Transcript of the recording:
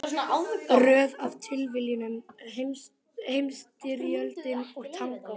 Röð af tilviljunum, Heimsstyrjöldin og tangó.